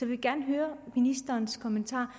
vil gerne have ministerens kommentar